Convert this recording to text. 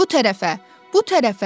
Bu tərəfə, bu tərəfə!